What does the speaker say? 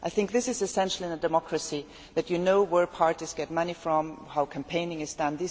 I think it is essential in a democracy that you know where parties get money from, and how campaigning is done.